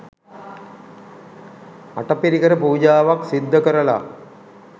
අටපිරිකර පූජාවක් සිද්ධ කරලා